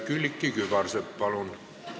Külliki Kübarsepp, palun!